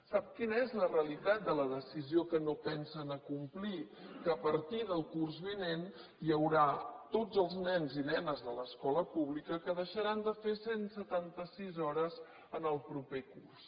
sap quina és la realitat de la decisió que no pensen acomplir que a partir del curs vinent hi haurà tots els nens i nenes de l’escola pública que deixaran de fer cent i setanta sis hores en el proper curs